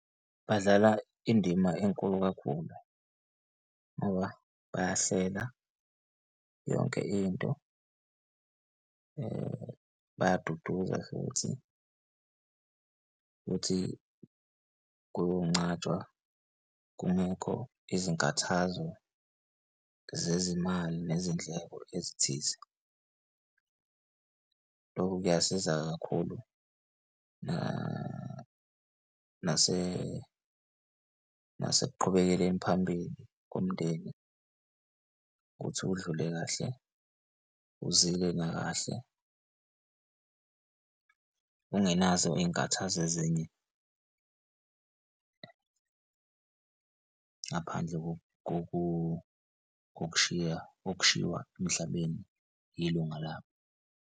Badlala indima enkulu kakhulu ngoba bayahlela yonke into, bayaduduza futhi, futhi kuyoncwatshwa kungekho izinkathazo zezimali nezindleko ezithize. Lokhu kuyasiza kakhulu nasekuqhubekeleni phambili komndeni. Ukuthi udlule kahle, uzile nakahle ungenazo iy'nkathazo ezinye. Ngaphandle kokushiya, kokushiwa emhlabeni yilunga lakho.